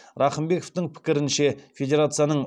рахымбековтың пікірінше федерацияның